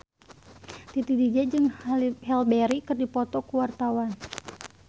Titi DJ jeung Halle Berry keur dipoto ku wartawan